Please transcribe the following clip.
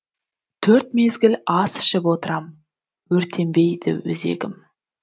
төрт мезгіл ас ішіп отырам өртенбей өзегім